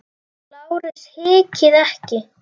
LÁRUS: Hikið ekki!